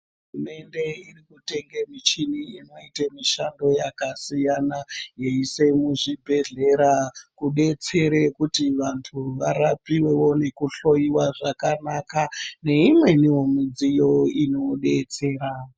Hurumende iri kutenga michini inoita mishando yakasiyana yeisa muzvibhedhlera kudetsera kuti antu varapiwe nokuhloiwa zvakanaka neimwneniwo midziyo inodetsera.